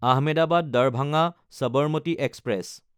Ahmedabad Darbhanga Sabarmati express